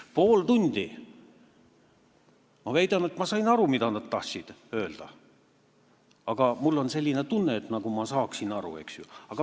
Läks pool tundi ja ma väidan, et ma sain aru, mida nad tahtsid öelda, mul on selline tunne, nagu ma saaksin aru.